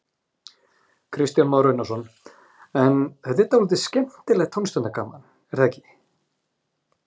Kristján Már Unnarsson: En þetta er dálítið skemmtilegt tómstundagaman, er það ekki?